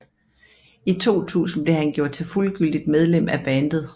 I 2000 blev han gjort til fuldgyldigt medlem af bandet